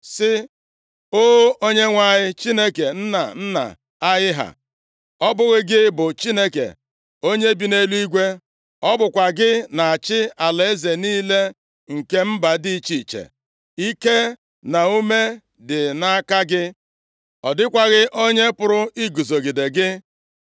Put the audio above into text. sị; “O Onyenwe anyị, Chineke nna nna anyị ha, ọ bụghị gị bụ Chineke onye bi nʼeluigwe? Ọ bụkwa gị na-achị alaeze niile nke mba dị iche iche. Ike na ume dị nʼaka gị, ọ dịkwaghị onye pụrụ iguzogide gị.